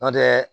N'o tɛ